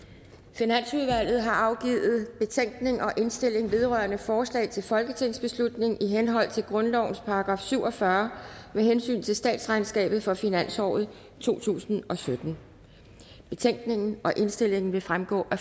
finansudvalget har afgivet betænkning og indstilling vedrørende forslag til folketingsbeslutning i henhold til grundlovens § syv og fyrre med hensyn til statsregnskabet for finansåret to tusind og sytten betænkningen og indstillingen vil fremgå af